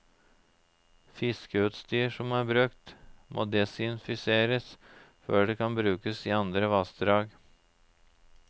Fiskeutstyr som er brukt, må desinfiseres før det kan brukes i andre vassdrag.